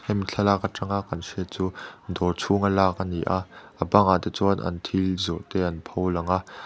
hemi thlalak atanga kan hriat chu dawr chhung a lak a ni a a bangah te chuan an thil zawrh te an pho lang a.